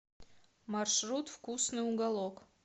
маршрут вкусный уголок